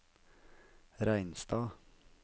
Reinstad